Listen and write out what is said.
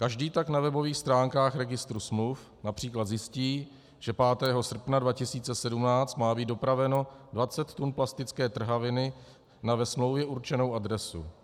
Každý tak na webových stránkách registru smluv například zjistí, že 5. srpna 2017 má být dopraveno 20 tun plastické trhaviny na ve smlouvě určenou adresu.